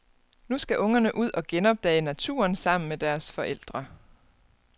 Nu skal ungerne ud og genopdage naturen sammen med deres forældre.